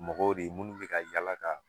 Mɔgɔw de ye munnu mi ka yala ka